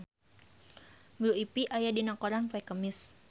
Blue Ivy aya dina koran poe Kemis